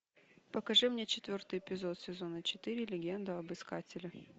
покажи мне четвертый эпизод сезона четыре легенда об искателе